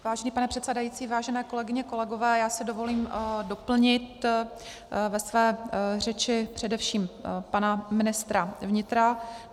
Vážený pane předsedající, vážené kolegyně, kolegové, já si dovolím doplnit ve své řeči především pana ministra vnitra.